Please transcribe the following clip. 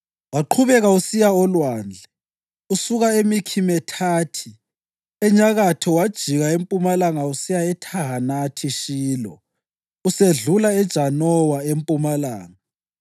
waqhubeka usiya olwandle. Usuka eMikhimethathi enyakatho wajika empumalanga usiya eThahanathi-Shilo, usedlula eJanowa empumalanga.